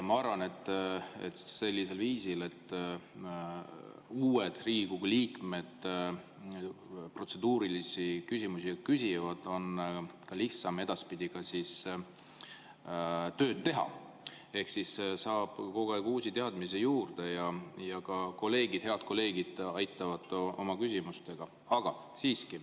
Ma arvan, et sellisel viisil, et uued Riigikogu liikmed protseduurilisi küsimusi küsivad, on edaspidi lihtsam tööd teha, kogu aeg saab uusi teadmisi juurde, ja ka head kolleegid aitavad oma küsimustega.